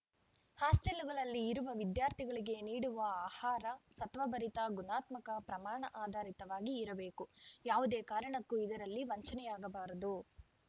ಹಾಸ್ಟೆಲ್‌ಗಳಲ್ಲಿ ಇರುವ ವಿದ್ಯಾರ್ಥಿಗಳಿಗೆ ನೀಡುವ ಆಹಾರ ಸತ್ವಭರಿತ ಗುಣಾತ್ಮಕ ಪ್ರಮಾಣ ಆಧರಿತವಾಗಿ ಇರಬೇಕು ಯಾವುದೇ ಕಾರಣಕ್ಕೂ ಇದರಲ್ಲಿ ವಂಚನೆಯಾಗಬಾರದು